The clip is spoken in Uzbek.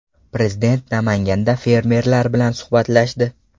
Prezident Namanganda fermerlar bilan suhbatlashdi.